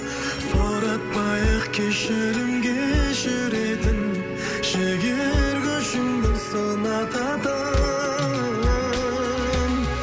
сұратпай ақ кешірім кешіретін жігер күшіңді сынататын